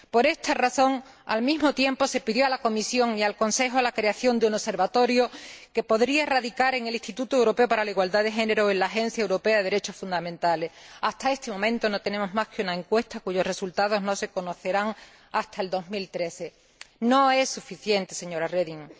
Por esta razón, se pidió al mismo tiempo a la Comisión y al Consejo la creación de un Observatorio que podría radicar en el Instituto Europeo de la Igualdad de Género o en la Agencia de los Derechos Fundamentales de la Unión Europea. Hasta este momento no tenemos más que una encuesta cuyos resultados no se conocerán hasta 2013. No es suficiente, señora Reding.